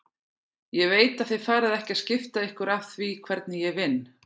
Ég veit að þið farið ekki að skipta ykkur af því hvernig ég vinn.